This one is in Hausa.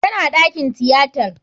Tana dakin tiyatar.